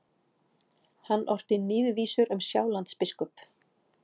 Hann orti níðvísur um Sjálandsbiskup.